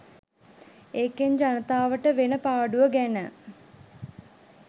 ඒකෙන් ජනතාවට වෙන පාඩුව ගැන